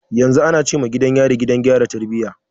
Yanzu ana ce ma gidan yari, Gidan gyara tarbiyya.